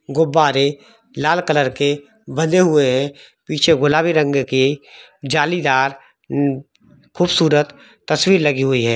गुब्बारे लाल कॉलर के बंधे हुए है पीछे गुलाबी रंग की जालीदार यम म खुबसूरत तसवीर लगी हुई है।